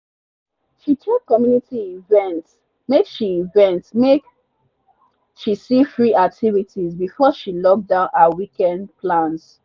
she check community events make she events make she see free activities before she lock down her weekend plans.